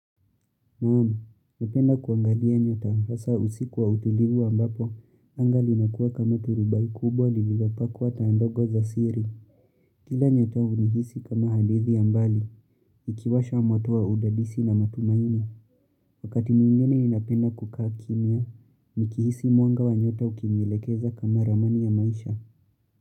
Naamu, napenda kuangadia nyota, hasa usiku wa utulivu ambapo, anga linakuwa kama turubai kubwa, lililopakuwa taa ndogo za siri. Kila nyota unihisi kama hadithi ya mbali, ikiwasha umatu wa udadisi na matumaini. Wakati mwingene ninapenda kukaa kimya, nikihisi mwanga wa nyota ukinilekeza kama ramani ya maisha.